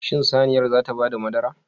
Shin saniyar zata bada madara?